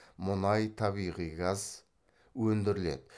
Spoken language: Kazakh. мұнай табиғи газ өндіріледі